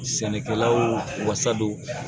Sɛnɛkɛlawl wasa don